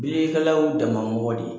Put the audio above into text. Bililikɛlaw y'u damamɔgɔ de ye.